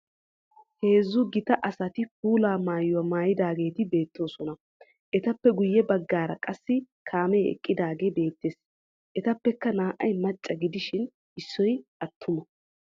Heezzu gita asati puula mayuwa mayidaageeti beettoosona. Etappe guye baggaara qassi kaamee eqqidaage beettees. Etuppekka naa"ay macca gidishin issoy attuma.